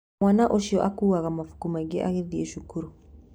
Mwana ũcio akuaga mabuku maingĩ agĩthiĩ cukuru